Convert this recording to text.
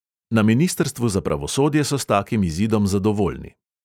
Na ministrstvu za pravosodje so s takim izidom zadovoljni.